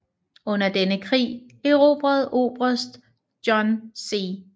Under denne krig erobrede oberst John C